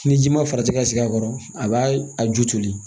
Ni ji ma farati ka sigi a kɔrɔ a b'a a ju toli